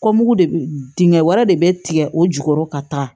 Kɔmugu de bɛ dingɛ wɛrɛ de bɛ tigɛ o jukɔrɔ ka taa